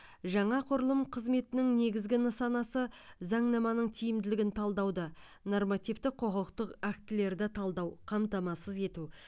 жаңа құрылым қызметінің негізгі нысанасы заңнаманың тиімділігін талдауды нормативтік құқықтық актілерді талдау қамтамасыз ету